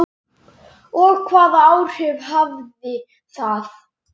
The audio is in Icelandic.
Og hvaða áhrif hafði það?